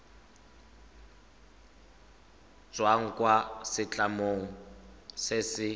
tswang kwa setlamong se se